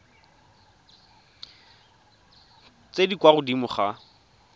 tse di kwa godimo ga